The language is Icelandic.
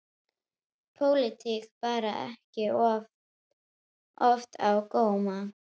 Pólitík bar ekki oft á góma.